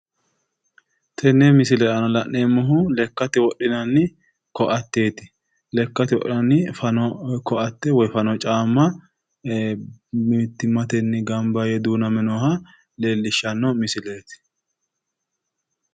Tenne misile aana la'neemmohu lekkate wodhinanni koatteeti. Lekkate wodhinanni fano koatte woyi fano caamma mittimmatenni gamba yee duuname nooha leellishshanno misileeti.